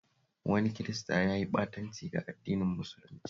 Wani Kirista ya yi ɓatanci ga addinin musulunci